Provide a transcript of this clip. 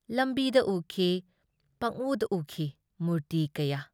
ꯂꯝꯕꯤꯗ ꯎꯈꯤ ꯄꯪꯎꯗ ꯎꯈꯤ ꯃꯨꯔꯇꯤ ꯀꯌꯥ ꯫